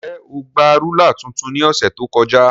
Njẹ o gba rulạ tuntun ni ọsẹ to kọja?